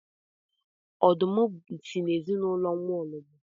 Ọdụm si na ezinụlọ nwaọlọgbọ